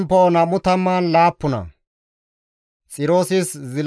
GODAA qaalay taakko yiidi,